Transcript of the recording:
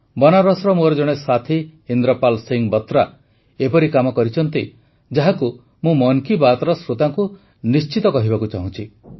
ବନାରସର ମୋର ଜଣେ ସାଥୀ ଇନ୍ଦ୍ରପାଲ ସିଂହ ବତ୍ରା ଏପରି କାମ କରିଛନ୍ତି ଯାହାକୁ ମୁଁ ମନ୍ କୀ ବାତ୍ର ଶ୍ରୋତାଙ୍କୁ ନିଶ୍ଚିତ କହିବାକୁ ଚାହୁଁଛି